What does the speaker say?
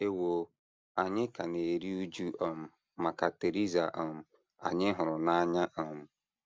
Ewo, anyị ka na - eru újú um maka Theresa um anyị hụrụ n’anya um.